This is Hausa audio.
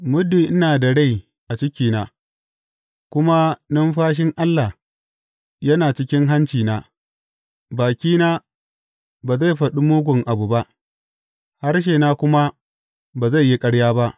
Muddin ina da rai a cikina kuma numfashin Allah yana cikin hancina, bakina ba zai faɗi mugun abu ba, harshena kuma ba zai yi ƙarya ba.